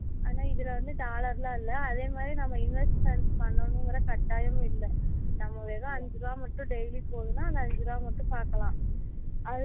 ஆனா இதுல வந்து dollar லாம் இல்லை அதே மாதிரி நம்ம investment பண்ணணும்கிற கட்டாயமும் இல்லை நம்ம வெறும் ஐந்து ரூபாய் மட்டும் daily போதும்னா அந்த ஐந்து ரூபாய் மட்டும் பாக்கலாம்